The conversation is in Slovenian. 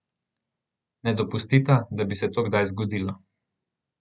Ne dopustita, da bi se to kdaj zgodilo.